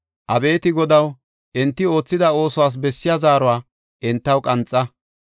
Abeeti Godaw, enti oothida oosuwas bessiya zaaruwa entaw qanxa!